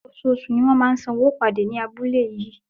Oṣooṣù ni a máa ń san owó ìpàdé ní abúlé yìí.